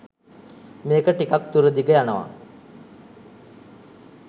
මේක ටිකක් දුරදිග යනව